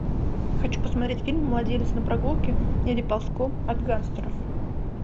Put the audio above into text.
хочу посмотреть фильм младенец на прогулке или ползком от гангстеров